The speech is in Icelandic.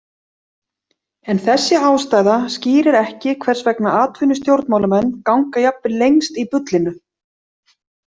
En þessi ástæða skýrir ekki hvers vegna atvinnustjórnmálamenn ganga jafnvel lengst í bullinu.